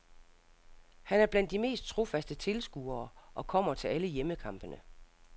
Han er blandt de mest trofast tilskuere og kommer til alle hjemmekampene.